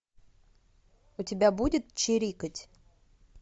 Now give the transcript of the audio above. у тебя будет чирикать